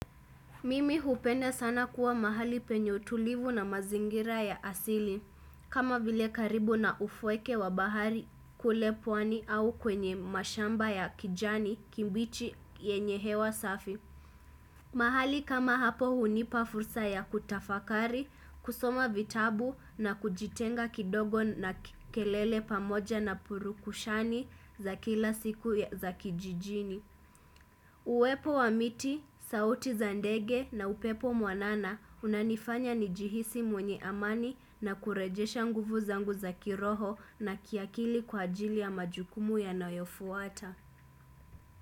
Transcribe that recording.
Mimi hupenda sana kuwa mahali penye utulivu na mazingira ya asili kama vile karibu na ufweke wa bahari kule pwani au kwenye mashamba ya kijani kimbichi yenye hewa safi mahali kama hapo hunipa fursa ya kutafakari, kusoma vitabu na kujitenga kidogo na kelele pamoja na purukushani za kila siku za kijijini Uwepo wa miti, sauti za ndege na upepo mwanana unanifanya njihisi mwenye amani na kurejesha nguvu zangu za kiroho na kiakili kwa ajili ya majukumu yanayofuata.